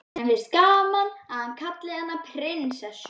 Henni finnst gaman að hann kallar hana prinsessu.